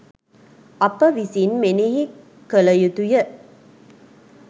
අප විසින් මෙනෙහි කළ යුතු ය